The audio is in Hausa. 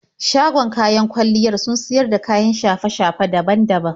Shagon kayan kwalliyar sun siyar da kayan shafe-shafe daban daban.